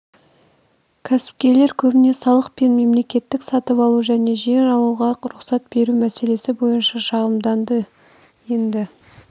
кәсіпкерлер көбіне салық пен мемлекеттік сатып алу және жер алуға рұқсат беру мәселесі бойынша шағымданады енді